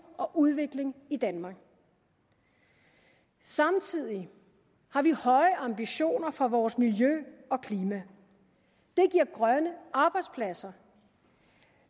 og udvikling i danmark samtidig har vi høje ambitioner for vores miljø og klima det giver grønne arbejdspladser